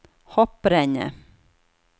hopprennet